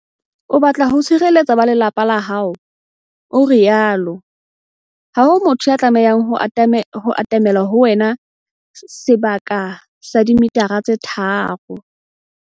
"O batla ho tshireletsa ba lelapa la hao," o rialo. Ha ho motho ya tlamehang ho atamela ho wena sebaka sa dimetara tse tharo.